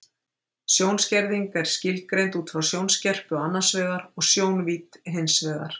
Sjónskerðing er skilgreind út frá sjónskerpu annars vegar og sjónvídd hins vegar.